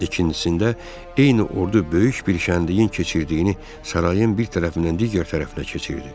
İkincisində eyni ordu böyük bir kəndliyin keçirdiyini sarayın bir tərəfindən digər tərəfinə keçirdi.